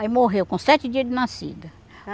Aí morreu, com sete dias de nascida.